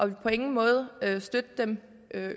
vil på ingen måde støtte dem